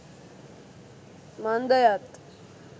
මන්දයත්